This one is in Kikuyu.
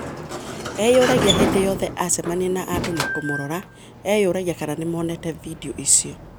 Eyũragia hĩndĩ yothe acemania na andũ na kũmũrora, eyũragia kana nĩmoneete vindioicio.